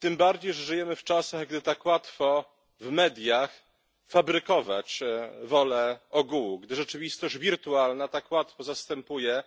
Tym bardziej, że żyjemy w czasach, gdy tak łatwo jest fabrykować w mediach wolę ogółu, gdy rzeczywistość wirtualna tak łatwo zastępuje